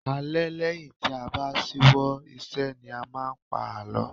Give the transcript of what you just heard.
Alẹ́ lẹ́yìn tí a bá ṣíwọ́ ìṣe ni a máa ń pa àlọ́